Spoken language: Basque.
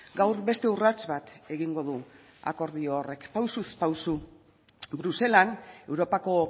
gaur beste urrats bat egingo du akordio horrek pausuz pausu bruselan europako